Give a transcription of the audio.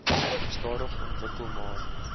stadig ontwikkel maar